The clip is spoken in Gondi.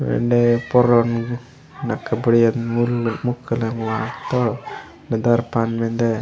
एंडे पोरोन नके बढ़िया मूल मुक लकमथ बिदर पांड मिन्दे।